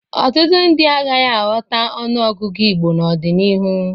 Ọtụtụ ndị agaghị aghọta ọnụọgụgụ Igbo n'ọdịnihu.